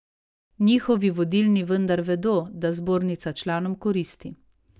Njihovi vodilni vendar vedo, da zbornica članom koristi.